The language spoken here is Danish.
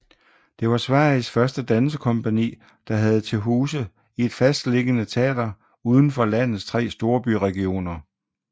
Det var Sveriges første dansekompagni der havde til huse i et fastliggende teater uden for landets tre storbyregioner